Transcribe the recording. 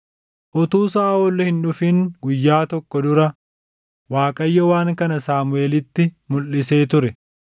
Utuu Saaʼol hin dhufin guyyaa tokko dura Waaqayyo waan kana Saamuʼeelitti mulʼisee ture: